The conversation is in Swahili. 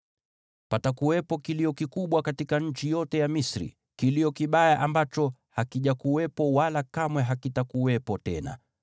Patakuwepo kilio kikubwa katika nchi yote ya Misri, kilio kibaya ambacho hakijakuwepo wala kamwe hakitakuwepo tena.